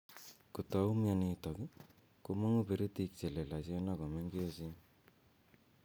Ko tau mionitok, komangu perytik che lelachen ako mengechen